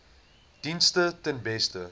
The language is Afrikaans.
dienste ten beste